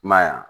I m'a ye wa